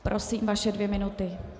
Prosím, vaše dvě minuty.